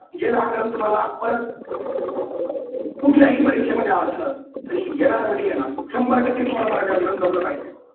जे व्याकरण तुम्हाला परत कुठल्याही परीक्षेमध्ये असलं तरी येणार म्हणजे येणार. शंभर टक्के तुम्हाला मराठी व्याकरण जमलं पाहिजे.